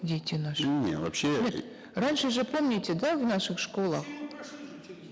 дети наши не вообще нет раньше же помните да в наших школах